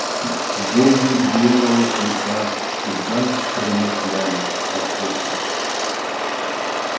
боги белого клыка всегда промышляли охотой